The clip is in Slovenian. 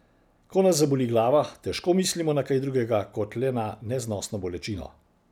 Ko nas zaboli glava, težko mislimo na kaj drugega, kot le na neznosno bolečino.